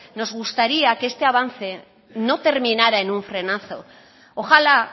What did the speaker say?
nos gustaría que este avance no terminara en un frenazo ojalá